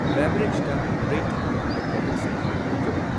ꯕꯦꯕꯔꯦꯖꯇ rating ꯋꯥꯡꯕ ꯄ꯭ꯔꯗꯛꯁꯤꯡꯗꯨ ꯎꯠꯂꯛꯎ꯫